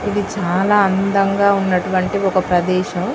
ఇది చాల అందంగా ఉన్నటవంటి ఒక ప్రదేశం